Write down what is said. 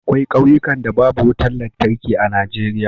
akwai kauyukan da babu wutar lantarki a Najeriya